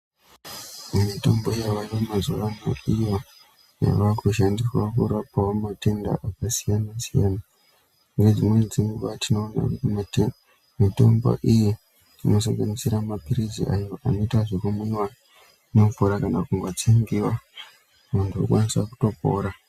Mitombo yavayo mazuvano iyo yavakushandiswa kurapawo matenda akasiyana-siyana. Mune dzimweni dzenguva tinoona mitombo iyi inosanganisira maphirizi ayo anoita zvekumwiwa ngemvura kana kutsengiwa, muntu okwanisa kutopora.